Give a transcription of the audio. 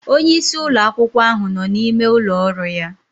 Onye isi ụlọ akwụkwọ ahụ nọ n'ime ụlọ ọrụ ya